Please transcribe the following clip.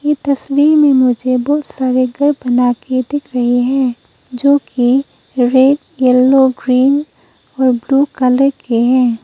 ये तस्वीर में मुझे बहुत सारे घर बना के दिख रहे है जो की रेड येलो ग्रीन और ब्लू कलर के है।